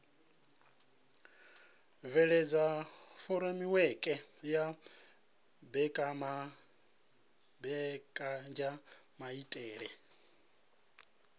bveledza furemiweke ya mbekanyamaitele a